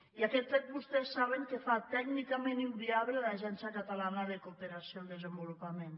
i aquest fet vostès saben que fa tècnicament inviable l’agència catalana de cooperació al desenvolupament